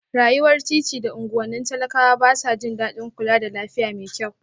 Rayuwar titi da unguwannin talakawa ba sa jin daɗin kula da lafiya mai kyau